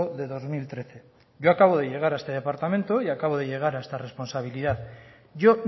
de dos mil trece yo acabo de llegar a este departamento y acabo de llegar a esta responsabilidad yo